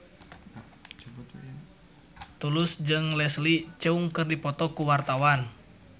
Tulus jeung Leslie Cheung keur dipoto ku wartawan